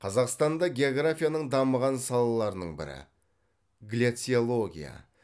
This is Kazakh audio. қазақстанда географияның дамыған салаларының бірі гляциология